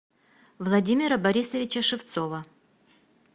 владимира борисовича шевцова